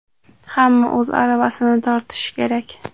hamma o‘z aravasini tortishi kerak.